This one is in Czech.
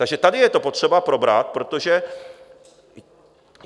Takže tady je to potřeba probrat, protože...